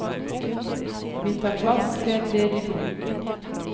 Vi tar plass ved et ledig bord.